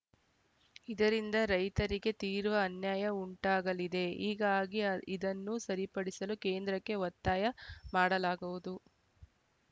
ಇದರಿಂದ ರೈತರಿಗೆ ತೀವ್ರ ಅನ್ಯಾಯ ಉಂಟಾಗಲಿದೆ ಹೀಗಾಗಿ ಆ ಇದನ್ನು ಸರಿಪಡಿಸಲು ಕೇಂದ್ರಕ್ಕೆ ಒತ್ತಾಯ ಮಾಡಲಾಗುವುದು